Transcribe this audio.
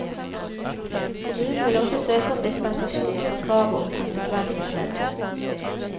Kommunen vil også søke om dispensasjon fra kravet om konsekvensutredning.